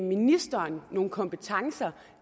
ministeren nogle kompetencer